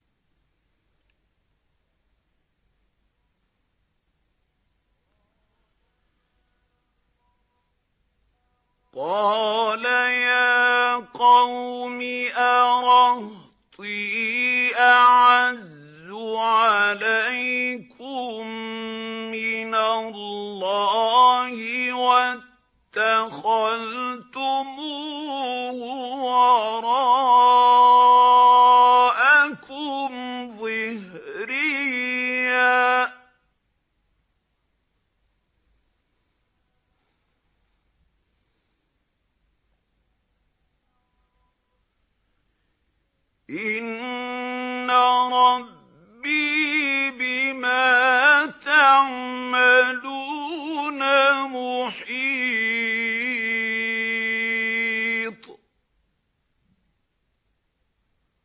قَالَ يَا قَوْمِ أَرَهْطِي أَعَزُّ عَلَيْكُم مِّنَ اللَّهِ وَاتَّخَذْتُمُوهُ وَرَاءَكُمْ ظِهْرِيًّا ۖ إِنَّ رَبِّي بِمَا تَعْمَلُونَ مُحِيطٌ